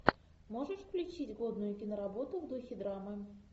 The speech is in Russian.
можешь включить годную киноработу в духе драмы